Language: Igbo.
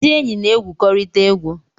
Ndi enyi na-egwukọrịta egwu